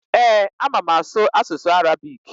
Ee, ama m asụ asụsụ Arabik.